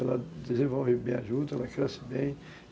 Ela desenvolve bem a juta, ela cresce bem.